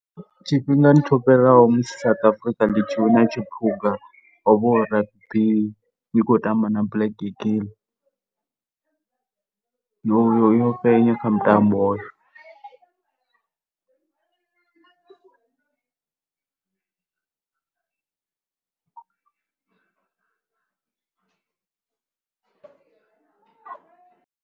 Tshifhingani tsho fhiraho musi South Africa ḽi tshi wina Tshiphuga hu vha hu ḽi khou tamba na Black Eagle. Yo, yo fhenya kha mutambo hoyo.